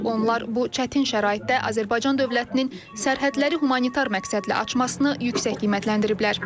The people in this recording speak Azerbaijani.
Onlar bu çətin şəraitdə Azərbaycan dövlətinin sərhədləri humanitar məqsədlə açmasını yüksək qiymətləndiriblər.